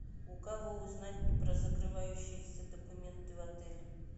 у кого узнать про закрывающиеся документы в отеле